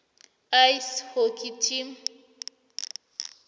ice hockey team